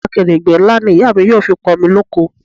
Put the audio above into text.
Akèrègbè ńlá ni ìyá mi yóò fi pọ̀n omi loko